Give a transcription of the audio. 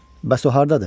Bəs o hardadır?